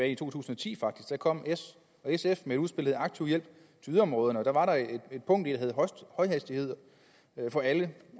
i to tusind og ti at der kom s og sf med udspillet aktiv hjælp til yderområderne og deri var der et punkt der hed højhastighed for alle